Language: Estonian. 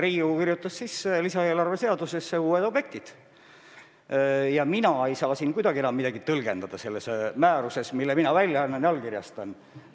Riigikogu kirjutas lisaeelarve seadusesse uued objektid ja mina ei saa kuidagi enam midagi tõlgendada selles määruses, mille mina välja annan ja allkirjastan.